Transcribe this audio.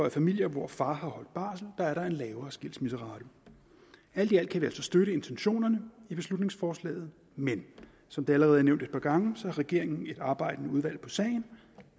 i familier hvor far har holdt barsel er en lavere skilsmisserate alt i alt kan vi altså støtte intentionerne i beslutningsforslaget men som det allerede er nævnt et par gange har regeringen et arbejdende udvalg på sagen